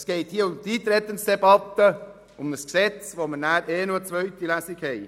Es geht hier um die Eintretensdebatte für ein Gesetz, zu welchem wir sowieso noch eine zweite Lesung durchführen.